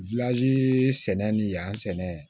sɛnɛni yan sɛnɛ